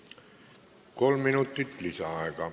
Kolm minutit lisaaega.